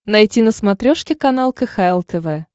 найти на смотрешке канал кхл тв